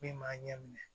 Min b'a ɲɛ minɛ